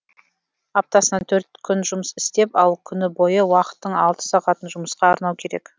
аптасына төрт күн жұмыс істеп ал күні бойы уақыттың алты сағатын жұмысқа арнау керек